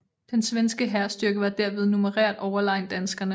Den svenske hærstyrke var derved numerært overlegen danskerne